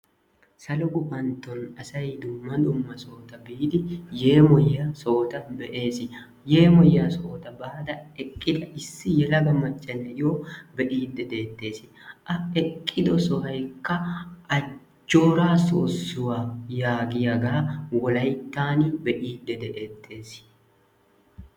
Salo gufantton asay dumma dumma sohota biidi yemmoyiya sohota be'ees. Yeemmoyiya sohota baada eqqida issi yelaga macca na'iyo bee'ide deettees. a eqqido sohoykka ajjoora sossuwaa yaaggiyaaga be'idde detees.